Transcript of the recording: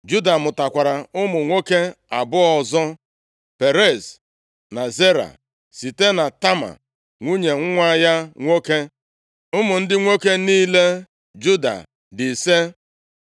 Juda mụtakwara ụmụ nwoke abụọ ọzọ, Perez na Zera, site na Tama nwunye nwa ya nwoke. Ụmụ ndị nwoke niile Juda dị ise.